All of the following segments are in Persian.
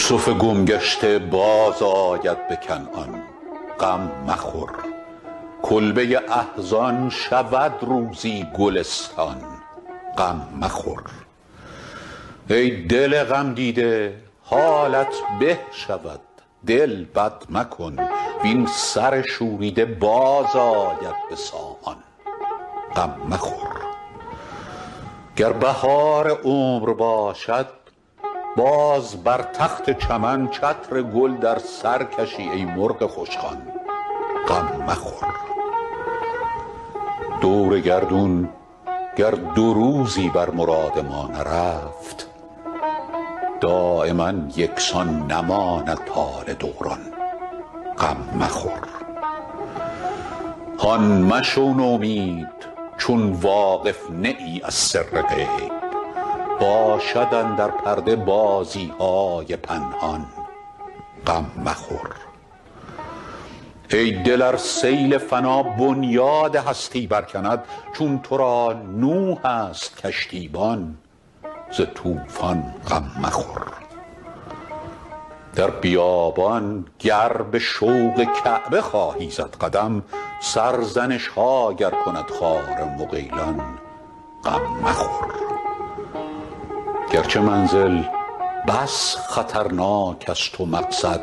یوسف گم گشته بازآید به کنعان غم مخور کلبه احزان شود روزی گلستان غم مخور ای دل غمدیده حالت به شود دل بد مکن وین سر شوریده باز آید به سامان غم مخور گر بهار عمر باشد باز بر تخت چمن چتر گل در سر کشی ای مرغ خوشخوان غم مخور دور گردون گر دو روزی بر مراد ما نرفت دایما یکسان نباشد حال دوران غم مخور هان مشو نومید چون واقف نه ای از سر غیب باشد اندر پرده بازی های پنهان غم مخور ای دل ار سیل فنا بنیاد هستی برکند چون تو را نوح است کشتیبان ز طوفان غم مخور در بیابان گر به شوق کعبه خواهی زد قدم سرزنش ها گر کند خار مغیلان غم مخور گرچه منزل بس خطرناک است و مقصد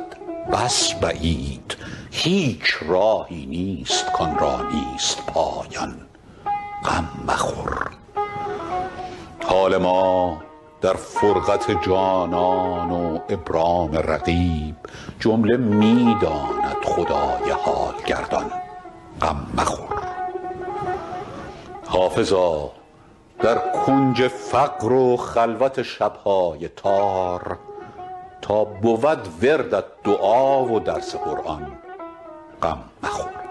بس بعید هیچ راهی نیست کآن را نیست پایان غم مخور حال ما در فرقت جانان و ابرام رقیب جمله می داند خدای حال گردان غم مخور حافظا در کنج فقر و خلوت شب های تار تا بود وردت دعا و درس قرآن غم مخور